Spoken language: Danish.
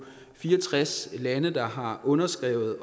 fire og tres lande der har underskrevet